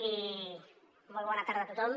i molt bona tarda a tothom